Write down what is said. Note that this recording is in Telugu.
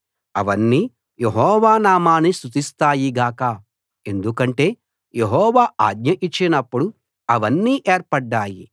అవన్నీ యెహోవా నామాన్ని స్తుతిస్తాయి గాక ఎందుకంటే యెహోవా ఆజ్ఞ ఇచ్చినప్పుడు అవన్నీ ఏర్పడ్డాయి